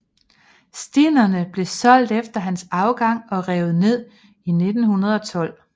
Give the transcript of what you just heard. Stinnene blev solgt efter hans afgang og revet ned i 1912